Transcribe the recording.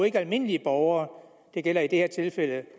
ikke almindelige borgere det gælder i det her tilfælde